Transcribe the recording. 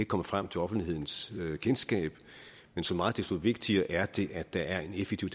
komme frem til offentlighedens kendskab men så meget desto vigtigere er det at der er en effektiv